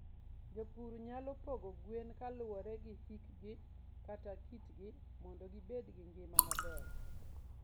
jopur nyalo pogo gweno kaluwore gi hikgi kata kitgi mondo gibed gi ngima maber.